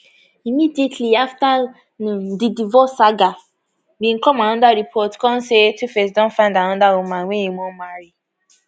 immediately afta um di divorce saga bin come anoda report kon say tuface don findanoda woman wey e um wan marry